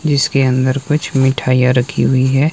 जिसके अंदर कुछ मिठाईयां रखी हुई है।